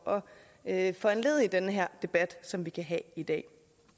at foranledige den her debat som vi kan have i dag